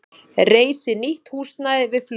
Reisi nýtt húsnæði við flugvöllinn